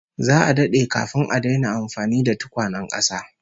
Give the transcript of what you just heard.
Za'a dade kafin a daina amfani da tukwanen kasa